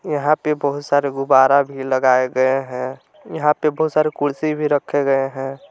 यहां पे बहुत सारे गुब्बारा भी लगाए गए हैं यहां पे बहुत सारे कुर्सी भी रखे गए हैं।